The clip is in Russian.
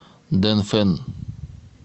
дэнфэн